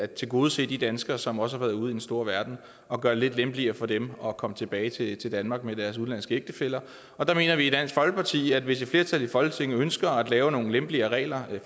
tilgodese de danskere som også har været ude i den store verden og gøre det lidt lempeligere for dem at komme tilbage til danmark med deres udenlandske ægtefæller der mener vi i dansk folkeparti at hvis et flertal i folketinget ønsker at lave nogle lempeligere regler